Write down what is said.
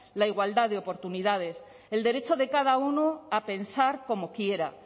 la igualdad de oportunidades el derecho de cada uno a pensar como quiera